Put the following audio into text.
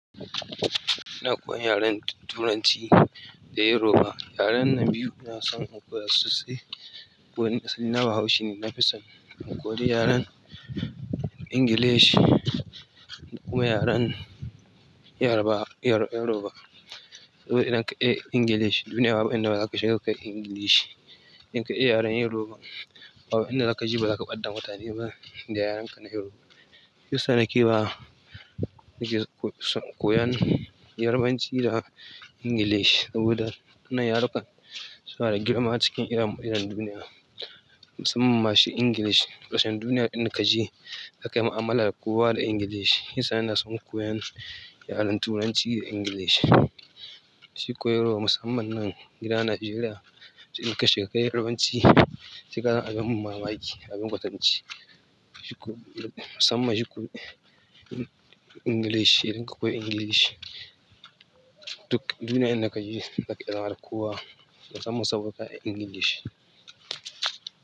Ina koyan yaren Turanci da Yoruba. Yaren nan biyu ina son in koya sosai kuma nj asali na bahaushe ne. Na fi son in koyi yaren Ingilishi kuma yaren Yoruba. Saboda idan ka iya Ingilishi, duniya ba inda ba za ka shiga ka koyi Ingilishi. Idan ka iya yaren Yoruba, abu inda za ka je ba zaka ɓadda mutane ba da yarenka na Yoruba. Shiyasa nake wa, nake son in koyi yarbanci da english saboda wannan yaruka sunada girma acikin idon duniya musamman ma shi english kusan duniya inda kaje za kayi mu'amala da kowa da english shiyasa ina son koyan yaren Turanci da Ingilishi. Shi Yoruba musamman nan gida Najeriya idan ka shiga ka yi Yarabanci saika zama abin mamaki, abin kwatance. Musamman english idan ka koyi english duk duniya inda kaje zaka iya zama da kowa musamman saboda ka iya english.